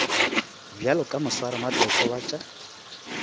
bjalo ka moswaramatlotlo wa tša